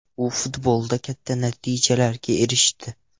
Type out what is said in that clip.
U futbolda katta natijalarga erishdi.